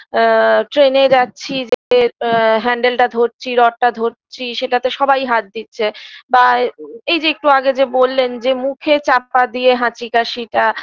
আ train -এ যাচ্ছি যে এ handle -টা ধরছি rod -টা ধরছি সেটাতে সবাই হাত দিচ্ছে বা এই যে একটু আগে যে বললেন যে মুখে চাপা দিয়ে হাঁচি কাশিটা